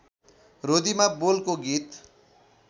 रोदीमा बोलको गीत